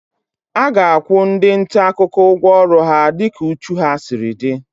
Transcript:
A ga-akwụ ndị nta akụkọ ụgwọ ọrụ dịka ịdị úchú ha siri dị)